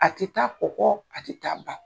A te taa kɔ kɔɔ, a te taa ba